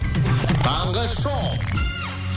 таңғы шоу